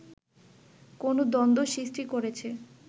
কোন দ্বন্দ্ব সৃষ্টি করেছে